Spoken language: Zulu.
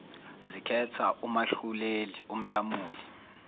zikhetha umahluleli umlamuli